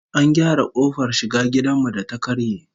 An gyara kofar shiga gidan mu da ta karye